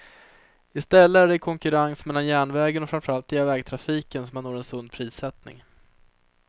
I stället är det i konkurrens mellan järnvägen och framför allt vägtrafiken som man når en sund prissättning.